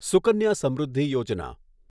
Sukanya Samriddhi Yojana